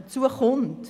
Hinzu kommt: